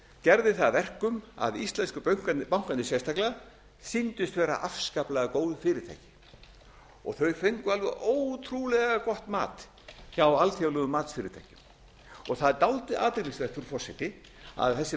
gerði það að verkum að íslensku bankarnir sérstaklega sýndust vera afskaplega góð fyrirtæki þau fengu alveg ótrúlega gott mat hjá alþjóðlegum matsfyrirtækjum það er dálítið athyglisvert frú forseti að þessi